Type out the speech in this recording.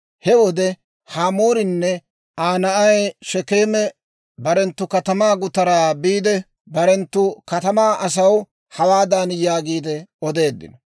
He wode Hamoorinne Aa na'ay Shekeeme barenttu katamaa gutaraa biide, barenttu katamaa asaw hawaadan yaagiide odeeddino;